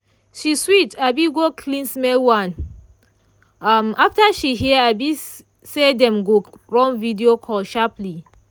she switch um go clean-smell one um after she hear um say dem go run video call sharperly.